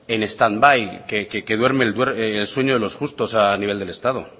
en stand by y que duerme el sueño de los justos a nivel del estado